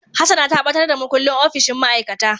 Hassana ta batar da makullin opishin ma'aikata.